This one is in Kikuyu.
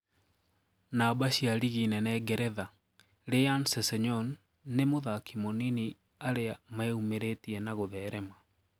Namba cia rigi nene Geretha:Ryan Sessegnon nii mũthaki munini ariameûmeretie na gutherema.